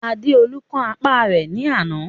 Adéolú kán apá rẹ̀ ní àná.